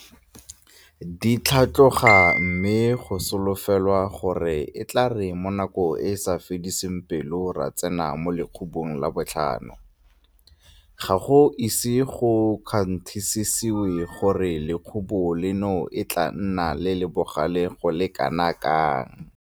di tlhatloga mme go solofelwa gore e tla re mo nakong e e sa fediseng pelo ra tsena mo lekhubung la botlhano, ga go ise go kgwanthisisewe gore lekhubu leno e tla nna le le bogale go le kanakang.